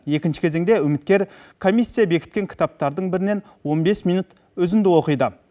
екінші кезеңде үміткер комиссия бекіткен кітаптардың бірінен он бес минут үзінді оқиды